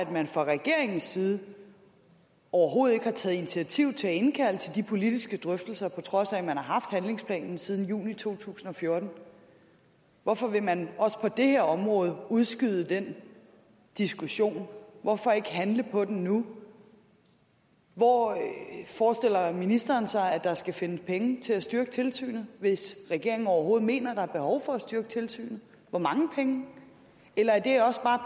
man fra regeringens side overhovedet ikke har taget initiativ til at indkalde til politiske drøftelser på trods af at man har haft handlingsplanen siden juni 2014 hvorfor vil man også på det her område udskyde den diskussion hvorfor ikke handle på den nu hvor forestiller ministeren sig der skal findes penge til at styrke tilsynet hvis regeringen overhovedet mener der er behov for at styrke tilsynet hvor mange penge eller er det også bare